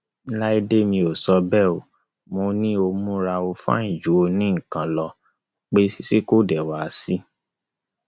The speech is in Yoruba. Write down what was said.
láìdè mo sọ bẹẹ o mọ ni o múra ó fàìn ju onínǹkan lọ pé ṣé kò dé wàá sí